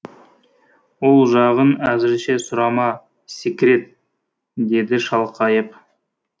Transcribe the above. ол жағын әзірше сұрама секрет деді шалқайып